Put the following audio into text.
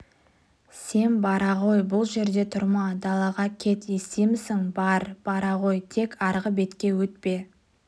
сен бара ғой бұл жерде тұрма далаға кет естимісің бар бара ғой тек арғы бетке өтпе